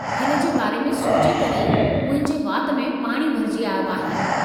हिन जे बारे में सोचे करे ई मुंहिंजे वात में पाणी भरिजी आयो आहे।